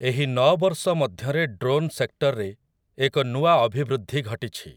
ଏହି ନଅ ବର୍ଷ ମଧ୍ୟରେ ଡ୍ରୋନ୍ ସେକ୍ଟରରେ ଏକ ନୂଆ ଅଭିବୃଦ୍ଧି ଘଟିଛି ।